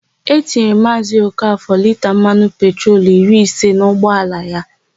E tinyere Maazị Okafọ lita mmanụ petrolu iri ise n'ụgbaala ya.